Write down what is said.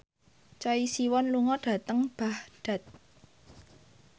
Choi Siwon lunga dhateng Baghdad